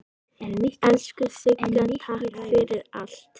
Elsku Sigga, takk fyrir allt.